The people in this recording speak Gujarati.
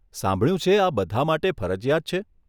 સાંભળ્યું છે આ બધા માટે ફરજિયાત છે.